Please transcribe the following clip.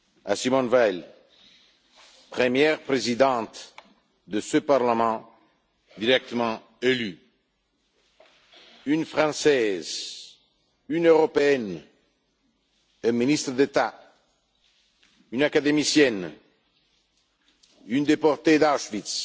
à Simone Veil, première Présidente de ce Parlement directement élu, une Française, une Européenne, une ministre d'État, une académicienne, une déportée d'Auschwitz,